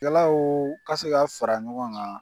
Kɛlaw ka se ka fara ɲɔgɔn ŋan